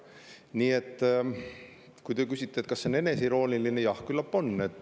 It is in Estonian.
Nii et kui te küsite, kas see on eneseirooniline, siis jah, küllap on.